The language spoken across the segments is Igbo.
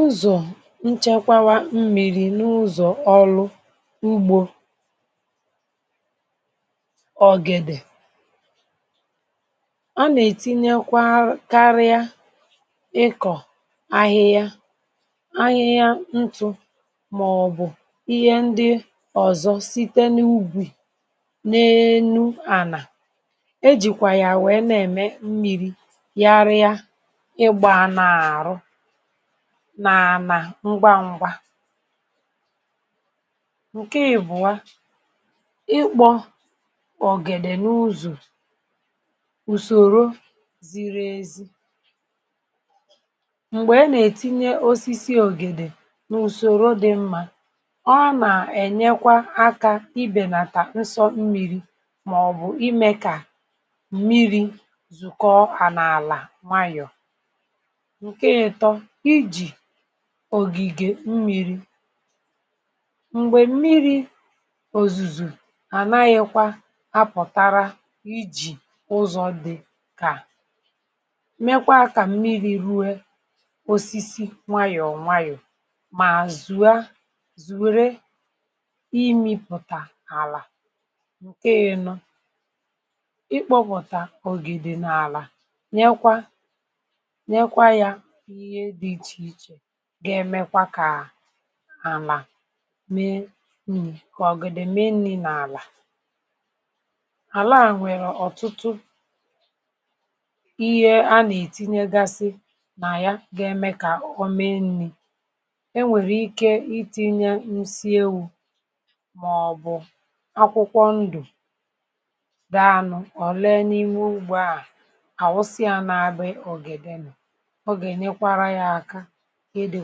Ụzọ̀ nchekwàwa mmiri̇… n’ụzọ̀ ọrụ ugbȯ̀ ògèdè, um A nà-ètinyekwa, karịa ịkọ̀ ahịhịa, ahịhịa ntụ̇, màọ̀bụ̀ ihe ndị ọzọ site n’ugwù, n’enu. À nà-ejikwa yà wèe, nà-ème… mmiri̇ nà-àna ngwa ngwa. Nke ìbụ̀ọ̀ Ọ bụ ikpọ̀ ògèdè n’ụzọ̀ usorȯ ziri ezi, um M̀gbè e nà-ètinye osisi ògèdè n’usorȯ dị mma ọ nà-ènyekwa akà ibè nata nsọ mmiri̇, màọ̀bụ̀ ime kà mmiri̇ zùkọo, ànaàlà nwayọ̀ n’ògìgè mmiri̇. M̀gbè mmiri̇ òzùzù, ànaghịkwa apụ̀tara. Ijì ụzọ̇ dị mma, ọ na-eme kà mmiri̇ rụọ̀ osisi nwayọ̀ọ̀, nwayọ̀ọ̀, mà zùo zùo, rie ala. Um ikpòputa ògè dị n’àlà gà-èmekwa kà àlà mee nri̇, kà ògèdè mee nri̇ nà àlà. Àlà a nwèrè ọ̀tụtụ ihe a... nà-ètinye, gàsị nà ya gà-eme kà o mee nri̇, um E nwèrè ike itinye, nsi ewu̇, màọ̀bụ̀ akwụkwọ ndụ̀ dàanụ̀ o lee n’ime ugbȯ, àwụsịa n’abụ̀ ògèdè nụ̀, ede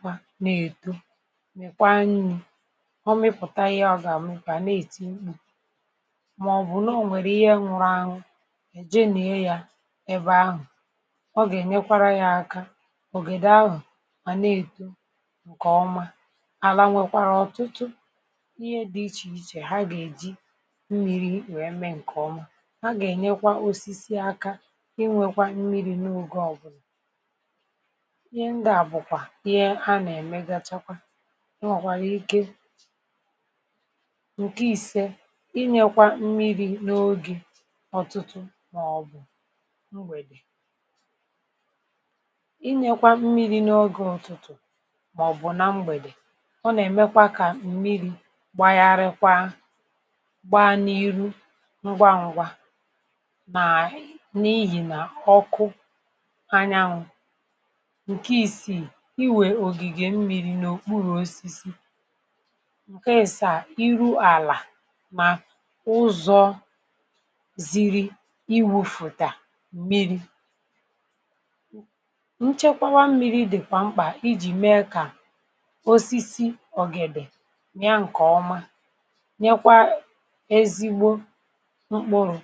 kwa na-èto, nwèkwa nri̇. Ọ mịpụ̀tà ihe ọ gà-àmụ, kà na-èto ụkpụ̇. Mà ọ̀ bụ̀, n’ọnwèrè ihe nwụrụ anwụ̇, èje nèe ya ebe ahụ̀, ọ gà-ènyekwa ya aka. Ògèdè ahụ̀ mà na-èto, nkeọmà àlà… nwèkwàrà ọ̀tụtụ ihe dị iche iche...Nkeọmà, ha gà-ènyekwa osisi aka inwèkwa mmiri̇ n’oge ọbụla. Nke à bụkwa ihe a nà-èmè Gachakwa, ị nwèkwàrà ike, nke ìse, ị nyèkwa mmiri̇ n’oge ọ̀tụtụ, màọ̀bụ̀ mgbèdè. Um… inye kwa mmiri̇ n’oge ọ̀tụtụ, màọ̀bụ̀ nà mgbèdè, ọ nà-èmekwa kà mmiri̇ gbàyaara gba n’ihu ngwaǹgwà, nà n’ihì ọkụ anyanwụ̇. Iwè ògìgè mmiri̇ n’òkpuru̇ osisi, nke èsà à rụọ̀ àlà, mà ụzọ̇ ziri iwu̇. Fụ̀tà mmiri̇ um nchekwàwa mmiri̇ dịkwa mkpa, ijì mee kà osisi ògèdè yà, nkeọmà, nye kwa ezigbo mkpụrụ̇.